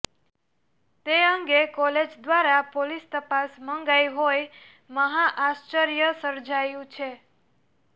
તે અંગે કોલેજ દ્વારા પોલીસ તપાસ મંગાઇ હોય મહા આશ્ચર્ય સર્જાયું છે